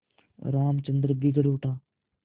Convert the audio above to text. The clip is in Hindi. रामचंद्र बिगड़ उठा